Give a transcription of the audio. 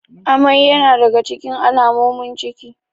Amai yana daga cikin alamomin ciki.